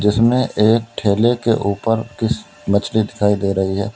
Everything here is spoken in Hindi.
जिसमें एक ठेले के ऊपर मछली दिखाई दे रही है।